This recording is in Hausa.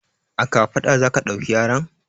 A kafaɗa za ka ɗauki yaron?